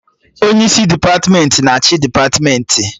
Onye isi depatmentị na achị depatmentị